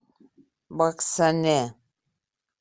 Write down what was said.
баксане